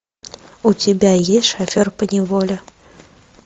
у тебя есть шофер поневоле